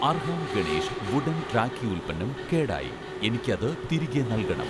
Arham Ganesh wooden rakhi ഉൽപ്പന്നം കേടായി, എനിക്ക് അത് തിരികെ നൽകണം